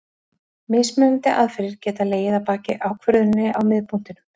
Mismunandi aðferðir geta legið að baki ákvörðuninni á miðpunktinum.